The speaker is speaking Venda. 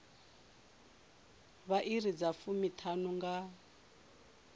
vha iri dza fumiṱhanu nga